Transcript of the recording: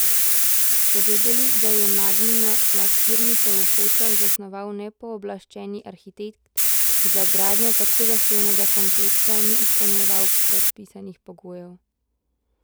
Ste vedeli, da je Magnino lakirnico v Hočah zasnoval nepooblaščeni arhitekt, ki za gradnjo tako zahtevnega kompleksa ni izpolnjeval predpisanih pogojev?